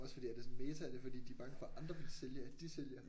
Også fordi er det sådan meta er det fordi de er bange for at andre vil sælge at de sælger